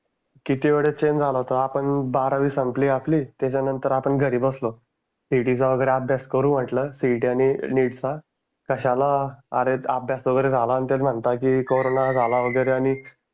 किती वेळा चेंज झालं होतं आपण बारावी संपली आपली त्याच्यानंतर आपण घरी बसलो. CET चा वगैरे अभ्यास करू म्हंटल CET, NEET चा कशाला अरे अभ्यास वगैरे झाला ते म्हणता की कॉरोना झाला वगैरे आणि